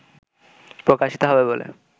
প্রকাশিত হবে বলে